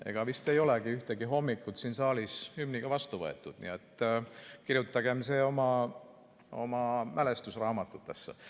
Ega vist ei olegi ühtegi hommikut siin saalis hümniga vastu võetud, nii et kirjutagem see oma mälestusteraamatutesse.